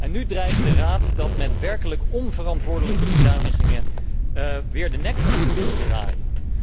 En nu dreigt de Raad dat met werkelijk onverantwoordelijke bezuinigingen weer de nek om te willen draaien.